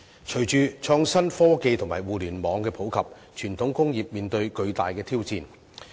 隨着創新科技及互聯網的普及，傳統工業面對巨大的挑戰。